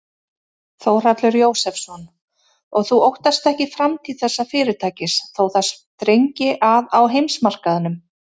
Þórhallur Jósefsson: Og þú óttast ekki framtíð þessa fyrirtækis þó það þrengi að á heimsmarkaðnum?